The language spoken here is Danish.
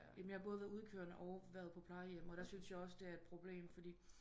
Jamen jeg har både være udekørende og været på plejehjem og der syntes jeg også det er et problem fordi